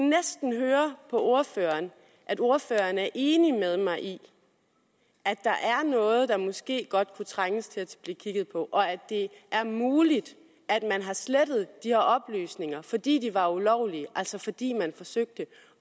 næsten høre på ordføreren at ordføreren er enig med mig i at der er noget der måske godt kunne trænge til at blive kigget på og at det er muligt at man har slettet de her oplysninger fordi de var ulovlige altså fordi man forsøgte